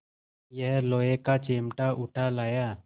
यह लोहे का चिमटा उठा लाया